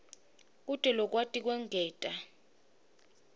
kute akwati kwengeta